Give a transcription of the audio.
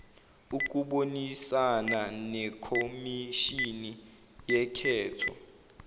ukubonisana nekhomishini yokhetho